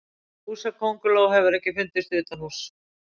Húsakönguló hefur ekki fundist utanhúss.